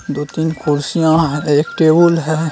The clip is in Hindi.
दो तीन कुर्सियाँ है एक टेबुल है।